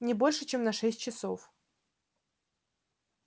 не больше чем на шесть часов